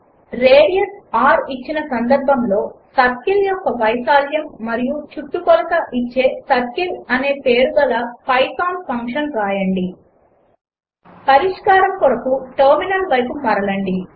radius r ఇచ్చిన సందర్భములో circle యొక్క వైశాల్యము మరియు చుట్టుకొలత ఇచ్చే సర్కిల్ అనే పేరుగల పైథాన్ ఫంక్షన్ వ్రాయండి పరిష్కారం కోసం టెర్మినల్ వైపు మరలండి